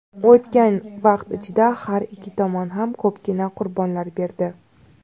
O‘tgan vaqt ichida har ikki tomon ham ko‘pgina qurbonlar berdi.